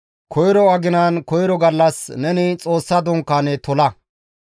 «Koyro aginan koyro gallas, neni Xoossa Dunkaane tola.